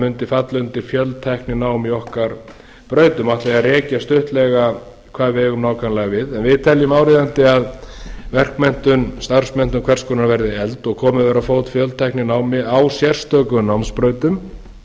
mundi falla undir fjöltækninám í okkar brautum og ætla ég að rekja stuttlega hvað við eigum nákvæmlega við við teljum áríðandi að verkmenntun starfsmenntun hvers konar verði efld og komið verði á fót fjöltækninámi á sérstökum námsbrautum